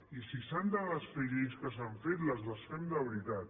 i si s’han de desfer lleis que s’han fet les desfem de veritat